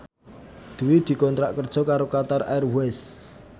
Dwi dikontrak kerja karo Qatar Airways